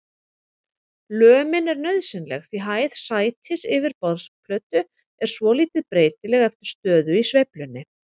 Lömin er nauðsynleg því hæð sætis yfir borðplötu er svolítið breytileg eftir stöðu í sveiflunni.